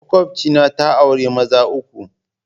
Makwabcina ta auri maza uku.